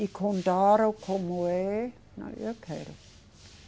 E contaram como é. Aí eu quero.